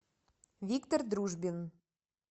виктор дружбин